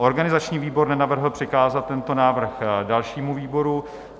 Organizační výbor nenavrhl přikázat tento návrh dalšímu výboru.